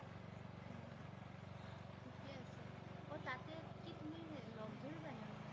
ঠিকে আছে। অ' তাতে কি তুমি। লগ ধৰিবা সিহঁতক?